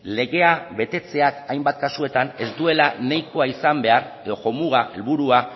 legea betetzeak hainbat kasutan ez duela nahikoa izan behar edo jomuga edo helburua